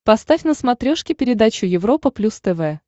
поставь на смотрешке передачу европа плюс тв